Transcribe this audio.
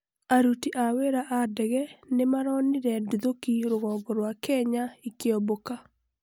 aruti a wĩra a ndege nĩmaronire nduthoki rũgongo rwa Kenya ĩkĩumbuka